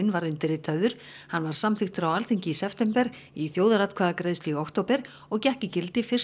var undirritaður hann var samþykktur á Alþingi í september í þjóðaratkvæðagreiðslu í október og gekk í gildi fyrsta